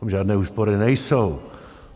Tam žádné úspory nejsou.